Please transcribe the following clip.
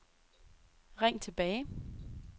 ring tilbage